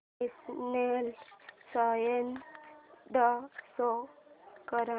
national science day show कर